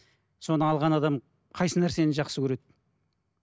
соны алған адам қайсы нәрсені жақсы көреді